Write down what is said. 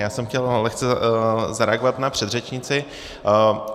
Já jsem chtěl lehce zareagovat na předřečnici.